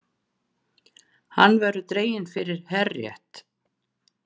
Hann verður dreginn fyrir herrétt